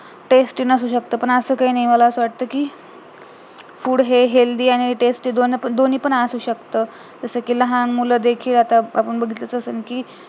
tasty नसू शकते पण असं काही नाही मला असं वाटत कि food हे healthy आणि tasty दोन्ही पण असू शकतात जसकी लहान मुलं देखील आता आपण बघितलंच असेल कि